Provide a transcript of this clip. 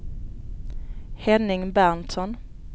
Henning Berntsson